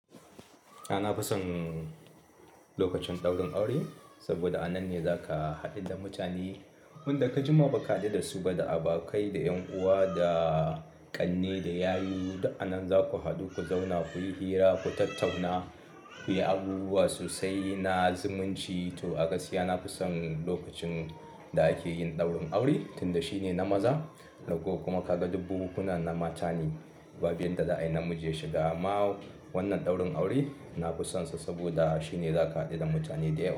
A na fi son lokacin ɗaurin aure saboda a nan ne zaka haɗu da mutane wanda ka jima baka haɗu da su ba, da abokai, da ƴan uwa, da ƙanne, da yayu. Duk anan za ku haɗu, ku zauna, ku yi hira, ku tattauna, ku yi abubuwa sosai na zumunci to a gaskiya na fi son lokacin da ake yin ɗaurin aure tunda shine na maza. Daga kuma kaga duk bukukuna na matane, bab yanda za a yi namiji ya shiga. Amma wannan ɗaurin aure na fi sonsa saboda shine zaka haɗu da mutane da yawa.